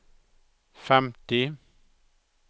femti